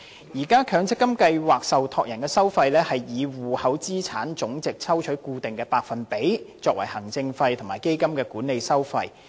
現時強積金計劃受託人的收費是從戶口資產總值抽取固定百分比，作為行政費和基金管理費。